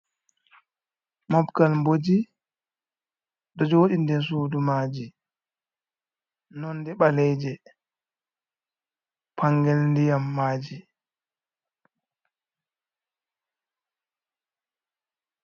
Mobgal boji do jodi nder sudu maji nonde baleji pangel diyam maji.